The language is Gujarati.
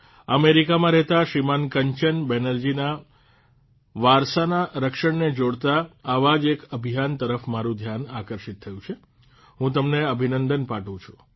અમેરિકામાં રહેતા શ્રીમાન કંચન બેનરજીના વારસાના રક્ષણને જોડતા આવા જ એક અભિયાન તરફ મારૂં ધ્યાન આકર્ષિત થયું છે હું તેમને અભિનંદન પાઠવું છું